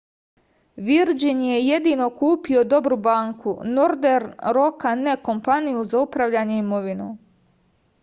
virdžin je jedino kupio dobru banku nordern roka ne kompaniju za upravljanje imovinom